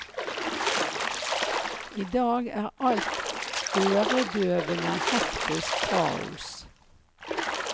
I dag er alt øredøvende hektisk kaos.